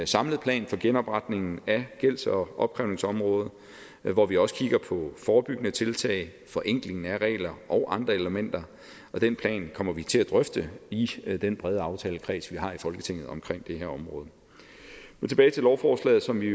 samlet plan for genopretningen af gælds og opkrævningsområdet hvor vi også kigger på forebyggende tiltag forenkling af regler og andre elementer og den plan kommer vi til at drøfte i den brede aftalekreds vi har i folketinget omkring det her område men tilbage til lovforslaget som vi